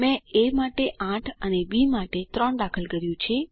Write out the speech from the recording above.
મેં એ માટે 8 અને બી માટે 3 દાખલ કર્યું છે